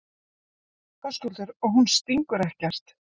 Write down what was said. Höskuldur: Og hún stingur ekkert?